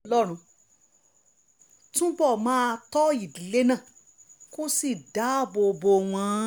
kí ọlọ́run túbọ̀ máa tọ́ ìdílé náà kó sì dáàbò bò wọ́n